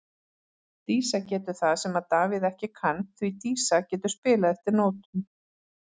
Dísa getur það sem að Davíð ekki kann, því Dísa getur spilað eftir nótum.